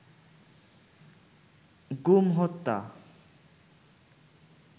গুম হত্যা